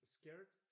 Scared?